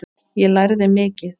Ég lærði mikið.